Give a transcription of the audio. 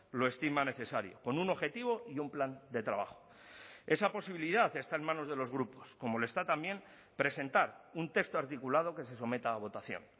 lo estima necesario con un objetivo y un plan de trabajo esa posibilidad está en manos de los grupos como lo está también presentar un texto articulado que se someta a votación